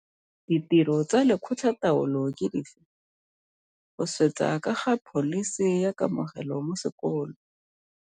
Ditiro tsa lekgotla taolo ke dife? Go swetsa ka ga pholisi ya kamogelo mo sekolo.